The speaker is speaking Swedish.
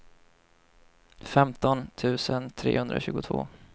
femton tusen trehundratjugotvå